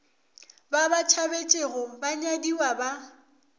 ba ba tšhabetšego banyadiwa ba